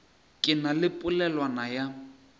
ke na le polelwana ya